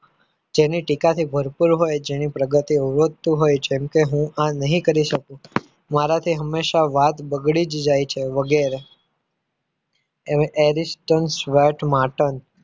જેની ટીકા થી ભરપૂર હોય જેની પ્રગતિ આવતું હોય જેમ કે હું આ નહીં કરી શકું. મારાથી હંમેશા વાત બગડી જ જાય છે વગેરે additions swait Martin